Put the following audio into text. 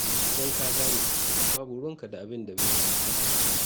Idan ka gane, babu ruwanka da abin da bai shafe ka ba.